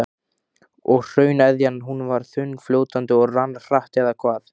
Og hrauneðjan, hún var þunnfljótandi og rann hratt eða hvað?